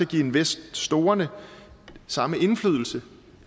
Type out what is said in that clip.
give investorerne samme indflydelse